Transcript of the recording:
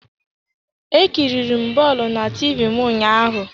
E kiriri m bọọlụ na TV m ụnyaahụ.